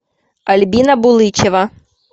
альбина булычева